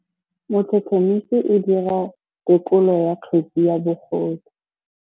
Motlhotlhomisi o dira têkolô ya kgetse ya bogodu.